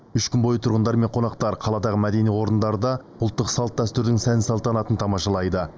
үш күн бойы тұрғындар мен қонақтар қаладағы мәдени орындарда ұлттық салт дәстүрдің сән салтанатын тамашалайды